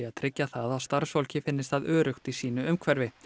tryggja það að starfsfólki finnist það öruggt í sínu umhverfi